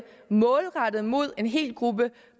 målrettet mod en hel gruppe